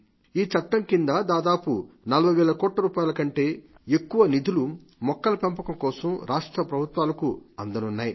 ఈ చట్టం కింద దాదాపు 40 వేల కోట్ల రూపాయల కంటే ఎక్కువ నిధులు మొక్కల పెంపకం కోసం రాష్ట్రప్రభుత్వాలకు అందనున్నాయి